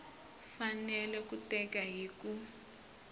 fanele ku teka hi ku